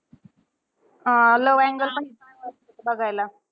अं love angle पण बघायला.